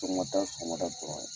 Sɔgɔmada sɔgɔmada dɔrɔn ye.